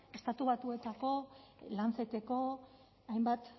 estatu batuetako the lanceteko hainbat